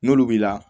N'olu b'i la